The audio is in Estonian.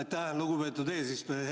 Aitäh, lugupeetud eesistuja!